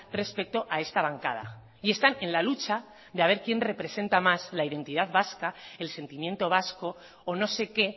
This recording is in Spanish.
respecto a esta bancada y están en la lucha de a ver quién representa más la identidad vasca el sentimiento vasco o no sé qué